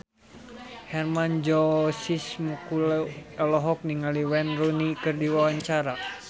Hermann Josis Mokalu olohok ningali Wayne Rooney keur diwawancara